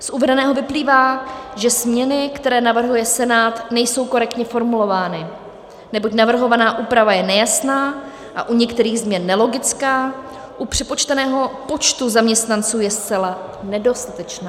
Z uvedeného vyplývá, že změny, které navrhuje Senát, nejsou korektně formulovány, neboť navrhovaná úprava je nejasná a u některých změn nelogická, u přepočteného počtu zaměstnanců je zcela nedostatečná.